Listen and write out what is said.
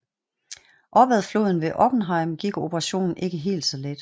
Op ad floden ved Oppenheim gik operationen ikke helt så let